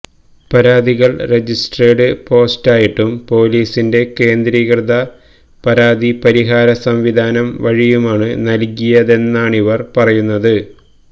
പരാതികള് രജിസ്ട്രേഡ് പോസ്റ്റായിട്ടും പോലീസിന്റെ കേന്ദ്രീകൃത പരാതി പരിഹാര സംവിധാനം വഴിയുമാണ് നല്കിയതെന്നാണിവർ പറയുന്നത്